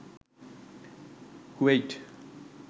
Kuwait